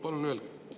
Palun öelge.